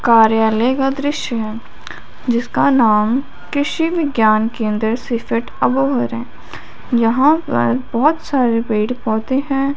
कार्यालय का दृश्य है जिसका नाम कृषि विज्ञान केंद्र सीफेट है यहां पर बहोत सारे पेड़ पौधे हैं।